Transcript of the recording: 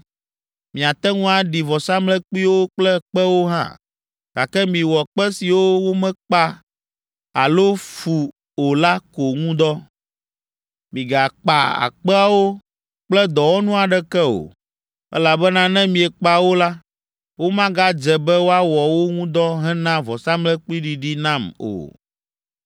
Miate ŋu aɖi vɔsamlekpuiwo kple kpewo hã, gake miwɔ kpe siwo womekpa alo fu o la ko ŋu dɔ. Migakpa kpeawo kple dɔwɔnu aɖeke o, elabena ne miekpa wo la, womagadze be woawɔ wo ŋu dɔ hena vɔsamlekpuiɖiɖi nam o.